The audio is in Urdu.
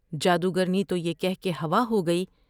جادوگرنی تو یہ کہہ کے ہوا ہو گی ۔